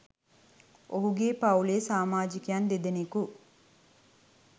ඔහුගේ පවුලේ සාමාජිකයන් දෙදෙනෙකු